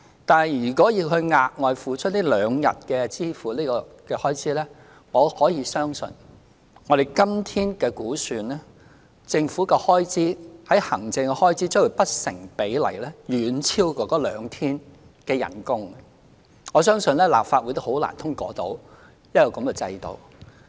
但是，如果要額外支付這兩天的開支，我可以相信，以今天的估算，政府的行政開支將會不成比例地遠超該兩天的薪酬，我相信立法會很難通過這樣的制度。